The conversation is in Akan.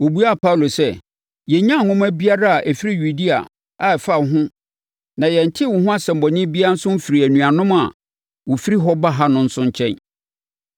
Wɔbuaa Paulo sɛ, “Yɛnnyaa nwoma biara a ɛfiri Yudea a ɛfa wo ho na yɛntee wo ho asɛmmɔne biara nso mfirii anuanom a wɔfiri hɔ ba ha no nso nkyɛn.